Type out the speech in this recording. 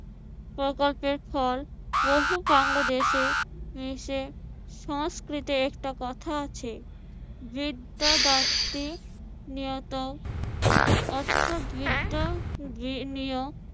প্রকল্পের ফল বহু বাংলাদেশে এসে সংস্কৃতে একটা কথা আছে বিদ্যা দাত্রী নিয়ত অর্থ বিদ্যা গৃহনীয়।